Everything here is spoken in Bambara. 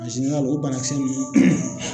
o banakisɛ ninnu